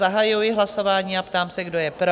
Zahajuji hlasování a ptám se, kdo je pro?